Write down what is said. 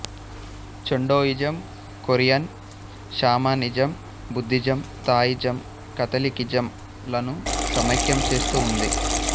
Cheondoism Korean shamanism Buddhism Taoism కాథలికిజంలను సమైక్యం చేస్తూ ఉంది